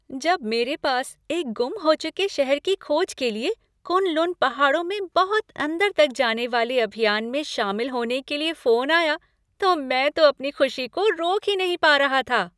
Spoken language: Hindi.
जब मेरे पास एक गुम हो चुके शहर की खोज के लिए कुन लुन पहाड़ों में बहुत अंदर तक जाने वाले अभियान में शामिल होने के लिए फोन आया तो मैं तो अपनी खुशी को रोक ही नहीं पा रहा था।